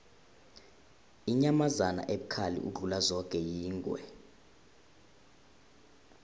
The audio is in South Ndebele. inyamazana ebukhali ukudlula zoke yingwe